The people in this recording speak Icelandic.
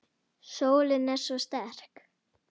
Sólin er svo sterk.